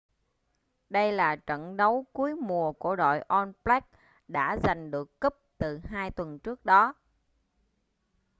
đây là trận đấu cuối mùa của đội all blacks đã giành được cúp từ hai tuần trước đó